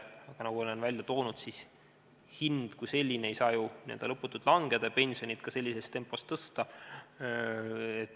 Aga nagu olen öelnud, hind kui selline ei saa ju lõputult langeda ega ole võimalik ka pensionit sellises tempos tõsta.